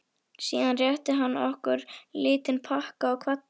Síðan rétti hann okkur lítinn pakka og kvaddi.